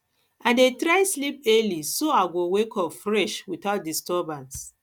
i dey try sleep early so i go wake up fresh without disturbance